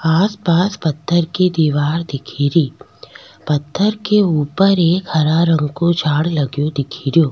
आसपास पत्थर की दिवार दिखे री पत्थर के ऊपर एक हरा रंग को झाड़ लगो दिख रो।